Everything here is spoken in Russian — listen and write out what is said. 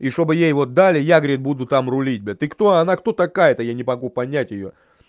и чтобы я его далия грей буду там рулить ты кто она кто такая-то я не могу понять её